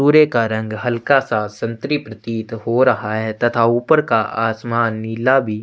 पुरे का रंग हल्का सा संत्री प्रतीत हो रहा है तथा ऊपर का आसमान नीला भी--